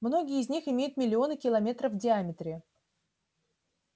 многие из них имеют миллионы километров в диаметре